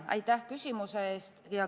Aitäh küsimuse eest!